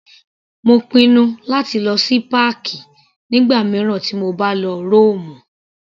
Mo pinnu láti lọ sí páàkì nígbà mìíràn tí mo bá lọ Rómù.